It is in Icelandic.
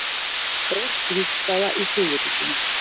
Breytt vígstaða í suðurríkjunum